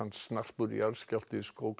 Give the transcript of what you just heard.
snarpur jarðskjálfti skók